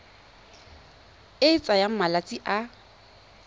e e tsayang malatsi a